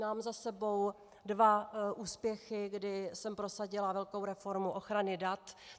Mám za sebou dva úspěchy, kdy jsem prosadila velkou reformu ochrany dat.